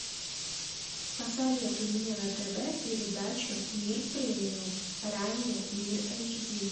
посоветуй мне на тв передачу мир премиум ранее мир эйч ди